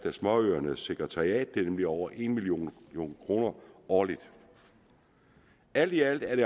af småøernes sekretariat det er nemlig over en million kroner årligt alt i alt er det